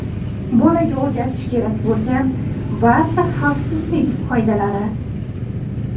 Bolaga o‘rgatish kerak bo‘lgan ba’zi xavfsizlik qoidalari.